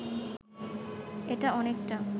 এটা অনেকটা